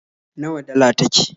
Nawa dala take?